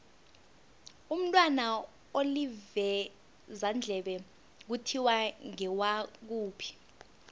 umntwana olivezandlebe kuthiwa ngewakuphi